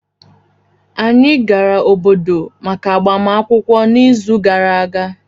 anyị gara obodo maka agbamakwụkwọ n'izu gara aga